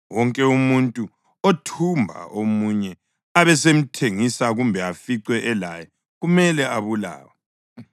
Wonke umuntu othumba omunye abesemthengisa kumbe aficwe elaye kumele abulawe.